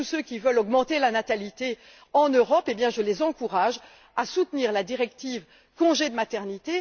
Tous ceux qui veulent augmenter la natalité en Europe, je les encourage à soutenir la directive congé de maternité.